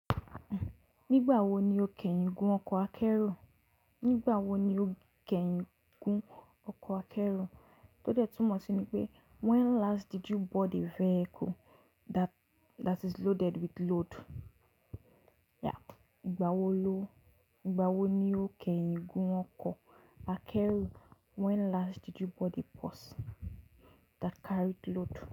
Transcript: Nígbà wo ni o kẹ́yìn gun ọkọ̀ akẹ́rù? Nígbà wo ni o kẹ́yìn gun ọkọ̀ akẹ́rù? Tó dẹ́ tunmọ̀ sí ní pé when last did you board a vehicle that, that is loaded with load? Yeah. Ìgbà wo ló, ìgbà wo ni o kẹ́yìn gun ọkọ̀ akẹ́rù? When last did you board a bus that carried load?